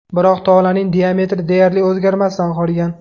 Biroq tolaning diametri deyarli o‘zgarmasdan qolgan.